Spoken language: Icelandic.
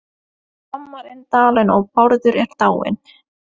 Hann þrammar inn dalinn og Bárður er dáinn.